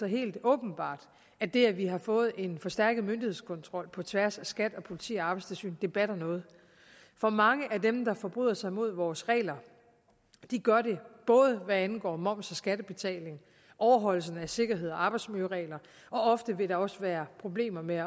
helt åbenbart at det at vi har fået en forstærket myndighedskontrol på tværs af skat politiet og arbejdstilsynet batter noget for mange af dem der forbryder sig mod vores regler gør det både hvad angår moms og skattebetaling overholdelse af sikkerheds og arbejdsmiljøregler og ofte vil der også være problemer med